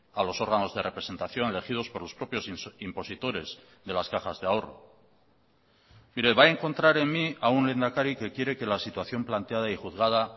a los órganos de representación elegidos por los propios impositores de las cajas de ahorro mire va a encontrar en mí a un lehendakari que quiere que la situación planteada y juzgada